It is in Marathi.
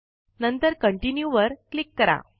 नंतर कंटिन्यू वर क्लिक करा